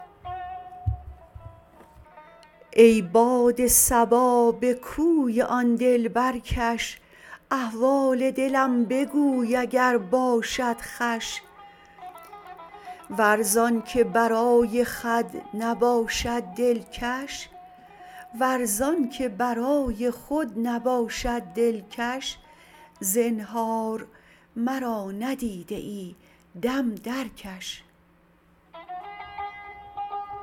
ای باد صبا به کوی آن دلبر کش احوال دلم بگوی اگر باشد خوش ور زانکه برای خود نباشد دلکش زنهار مرا ندیده ای دم درکش